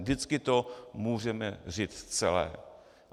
Vždycky to můžeme říci celé.